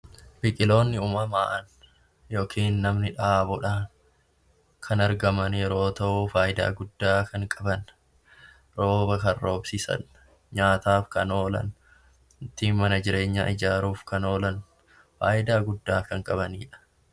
Biqiloonni uumamaan yookiin namni dhaabuudhaan kan argaman yeroo ta'u, faayidaa guddaa kan qaban rooba kan roobsisan, nyaataaf kan oolan, ittiin mana jireenyaa ijaaruuf kan oolan, faayidaa guddaa kan qabaniidha.